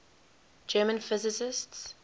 german physicists